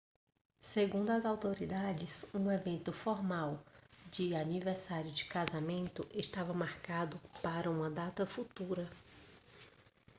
segundo as autoridades um evento formal de aniversário de casamento estava marcado para uma data futura